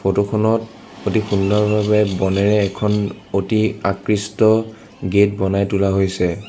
Photo খনত অতি সুন্দৰভাৱে বনেৰে এখন অতি আকৃষ্ট গেট বনাই তোলা হৈছে।